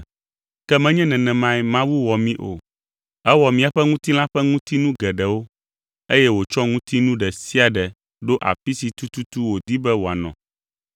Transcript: Ke, menye nenemae Mawu wɔ mí o. Ewɔ míaƒe ŋutilã ƒe ŋutinu geɖewo eye wòtsɔ ŋutinu ɖe sia ɖe ɖo afi si tututu wòdi be wòanɔ.